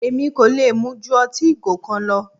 Èmi kò lè mu ju ọtí ìgò kan lọ.